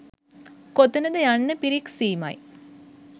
කොතනද යන්න පිරික්සීමයි